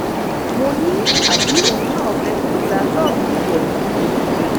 mo ní àbí òun náà fẹ kí n gba ṣọọbù tiẹ fún un ni